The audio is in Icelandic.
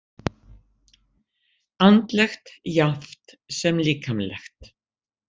Andlegt jafnt sem líkamlegt?